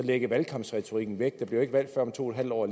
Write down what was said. lægge valgkampsretorikken væk der bliver ikke valg før om to en halv år